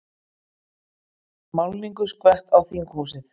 Málningu skvett á þinghúsið